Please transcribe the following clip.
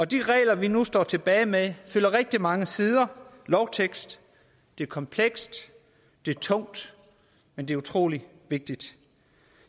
de regler vi nu står tilbage med fylder rigtig mange sider lovtekst det er komplekst det er tungt men det er utrolig vigtigt